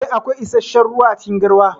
Eh, akwai issashen ruwa acikin garwa.